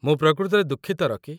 ମୁଁ ପ୍ରକୃତରେ ଦୁଃଖିତ, ରକି।